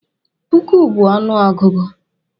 Puku bu ọnụ ọgụgụ.